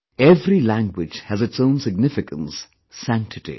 Every language has its own significance, sanctity